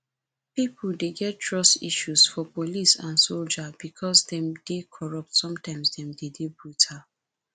pipo dey get trust issue for police and soldier because dem dey corrupt sometimes dem de dey brutal